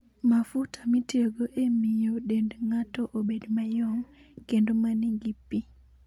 Mafuta mitiyogo e miyo dend ng'ato obed mayom, kendo ma nigi pi.